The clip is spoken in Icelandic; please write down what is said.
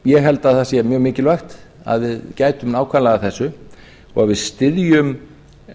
ég held að það sé mjög mikilvægt að við gætum nákvæmlega að þessu og við styðjum